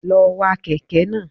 Lọ wa kèké náà